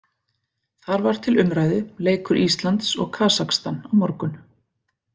Þar var til umræðu leikur Íslands og Kasakstan á morgun.